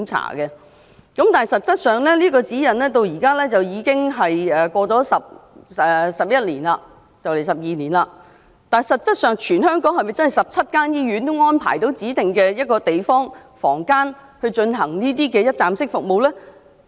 可是，自發出這份指引後，至今已過了11年，也快將12年了，但實際上，全港17間醫院是否已安排指定地方或房間以提供這種一站式服務呢？